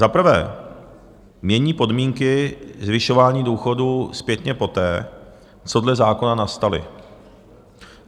Za prvé mění podmínky zvyšování důchodů zpětně poté, co dle zákona nastaly.